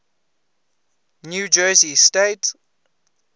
new jersey state